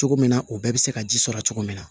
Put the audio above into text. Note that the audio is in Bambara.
Cogo min na o bɛɛ bɛ se ka ji sɔrɔ cogo min na